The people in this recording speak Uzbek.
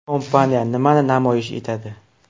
Kompaniya nimani namoyish etadi?.